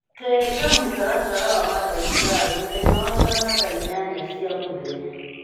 njenga mũtaratara wa mandagĩtarĩ mũthenya wa kana thaa inyanya cia mũthenya